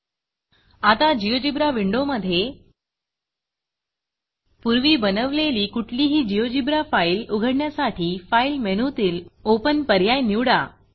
आता GeoGebraजियोजीब्रा विंडोमधे पूर्वी बनवलेली कुठलीही GeoGebraजियोजीब्रा फाईल उघडण्यासाठी फाइल मेनूतील ओपन पर्याय निवडा